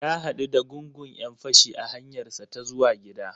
Ya gamu da gungun 'yan-fashi a hanyarsa ta zuwa gida.